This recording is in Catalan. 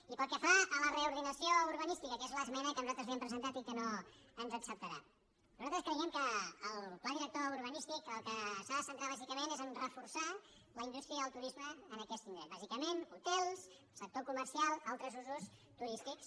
i pel que fa a la reordenació urbanística que és l’es·mena que nosaltres li hem presentat i que no ens ac·ceptarà nosaltres creiem que el pla director urbanístic en el que s’ha de centrar bàsicament és a reforçar la indústria i el turisme en aquest indret bàsicament ho·tels sector comercial altres usos turístics